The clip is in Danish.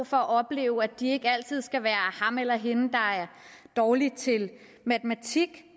for at opleve at de ikke altid skal være ham eller hende der er dårlig til matematik